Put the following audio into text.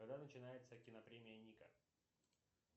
когда начинается кинопремия ника